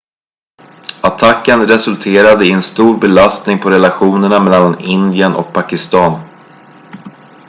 attacken resulterade i en stor belastning på relationerna mellan indien och pakistan